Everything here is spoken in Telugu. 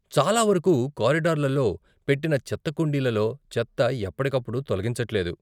చాలా వరకు, కారిడార్లలో పెట్టిన చెత్త కుండీలలో చెత్త ఎప్పటికప్పుడు తొలగించట్లేదు.